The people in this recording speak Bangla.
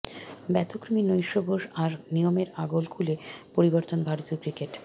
ব্যতিক্রমী নৈশভোজ আর নিয়মের আগল খুলে পরিবর্তনের ভারতীয় ক্রিকেট